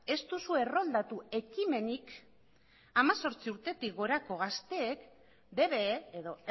ez duzu erroldatu ekimenik hemezortzi urtetik gorako gazteen dbe edo